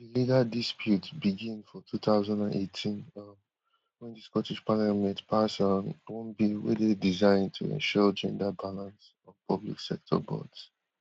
legal dispute begin for two thousand and eighteen um wen di scottish parliament pass um one bill wey dey designed to ensure gender balance on public sector boards